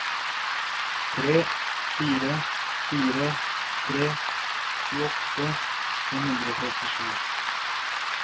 tre fire fire tre tjueåtte fem hundre og trettisju